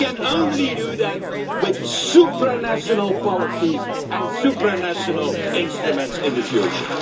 You can only do that with supranational policies and supranational instruments in the future.